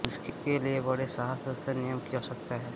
उसके लिए बड़े साहस और संयम कि आवश्यकता है